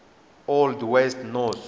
old west norse